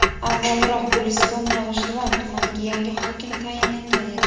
avvalroq Guliston va G‘ijduvon tumaniga yangi hokim tayinlangan edi.